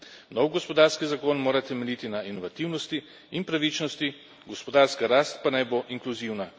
Nov gospodarski zagon mora temeljiti na inovativnosti in pravičnosti, gospodarska rast pa naj bo inkluzivna.